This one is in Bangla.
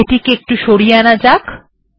এটি এখানে সরিয়ে আনা যাক